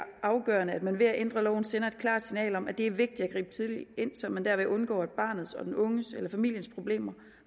afgørende at man ved at ændre loven sender et klart signal om at det er vigtigt at gribe tidligt ind så man derved undgår at barnets og den unges eller familiens problemer